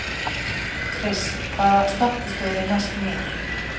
Kris, hvaða stoppistöð er næst mér?